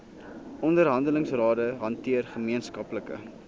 onderhandelingsrade hanteer gemeenskaplike